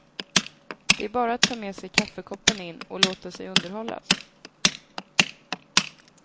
Det är bara att ta med sig kaffekoppen in och låta sig underhållas.